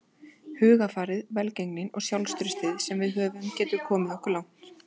Hugarfarið, velgengnin og sjálfstraustið sem við höfum getur komið okkur langt.